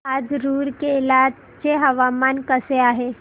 आज रूरकेला चे हवामान कसे आहे